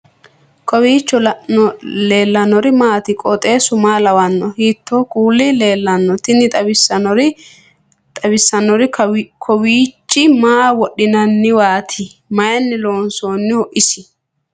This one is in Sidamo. kowiicho leellannori maati ? qooxeessu maa lawaanno ? hiitoo kuuli leellanno ? tini xawissannori kowiichi maa wodhinanniwati mayinni loonsoonniho isi